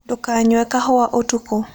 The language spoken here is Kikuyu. Ndũkanyũe kahũa ũtũkũ